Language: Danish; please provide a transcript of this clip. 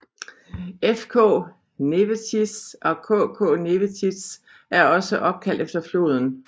FK Nevėžis og KK Nevėžis er også opkaldt efter floden